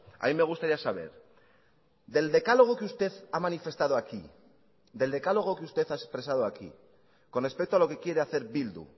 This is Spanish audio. a mí me gustaría saber del decálogo que usted ha manifestado aquí del decálogo que usted ha expresado aquí con respecto a lo que quiere hacer bildu